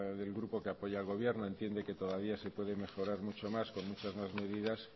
del grupo que apoya al gobierno entiende que todavía se puede mejorar mucho más con muchas más medidas